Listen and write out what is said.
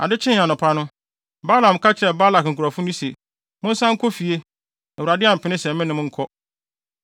Ade kyee anɔpa no, Balaam ka kyerɛɛ Balak nkurɔfo no se, “Monsan nkɔ fie! Awurade ampene sɛ me ne mo nkɔ.”